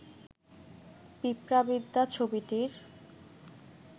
পিঁপড়াবিদ্যা ছবিটির